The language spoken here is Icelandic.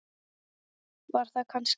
Var þar kannski aldrei?